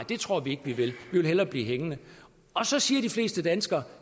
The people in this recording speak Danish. det tror vi ikke vi vil vi vil hellere blive hængende og så siger de fleste danskere